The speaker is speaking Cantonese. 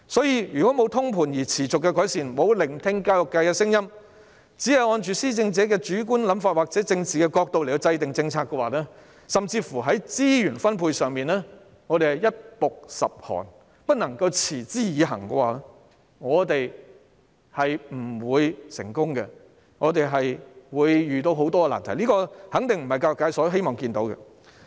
如果沒有通盤而持續的改善，沒有聆聽教育界的聲音，只按着施政者的主觀想法或政治角度來制訂政策，甚至在資源分配上，一暴十寒，不能持之以恆的話，我們是不會成功的，我們會遇到很多難題，這肯定不是教育界希望看到的情況。